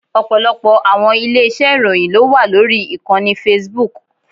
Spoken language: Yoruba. Ọ̀pọ̀lọpọ̀ àwọn ilé iṣẹ́ ìròyìn ló wà lórí ìkànnì Facebook.